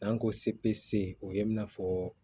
N'an ko se p o ye i n'a fɔ